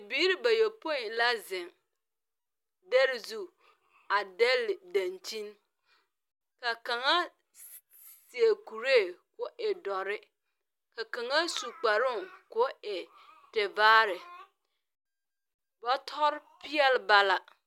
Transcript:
Biiri bayopoi la zeŋ dɛre zuŋ a dɛle dankyin. Ka kaŋa sseɛ kuree koo e dɔre, ka kaŋa su kparoo koo e tebaare. Bɔtɔre peɛl bala.